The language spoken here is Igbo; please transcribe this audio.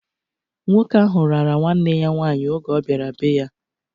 Nwoke ahụ rara nwanne ya nwaanyị oge ọbiara be-ya.